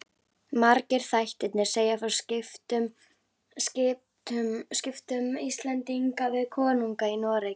Margir þættirnir segja frá skiptum Íslendinga við konunga í Noregi.